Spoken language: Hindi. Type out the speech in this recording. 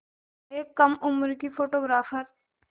एक कम उम्र की फ़ोटोग्राफ़र